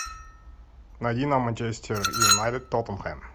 найди нам манчестер юнайтед тоттенхэм